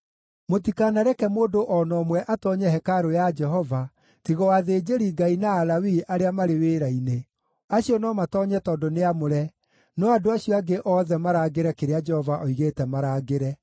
Mũtikanareke mũndũ o na ũmwe atoonye hekarũ ya Jehova tiga o athĩnjĩri-Ngai na Alawii arĩa marĩ wĩra-inĩ; acio no matoonye tondũ nĩ aamũre, no andũ acio angĩ othe marangĩre kĩrĩa Jehova oigĩte marangĩre.